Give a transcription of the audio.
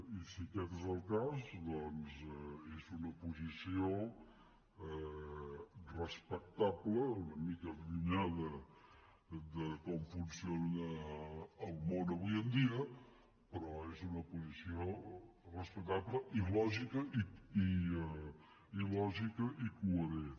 i si aquest és el cas doncs és una posició respectable una mica allunyada de com funciona el món avui en dia però és una posició respectable i lògica i coherent